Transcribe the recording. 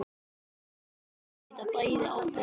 Við berum auðvitað bæði ábyrgð á þessu.